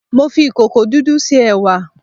Mo fi ìkòkò dúdú se ẹ̀wà